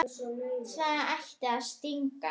Það ætti að stinga.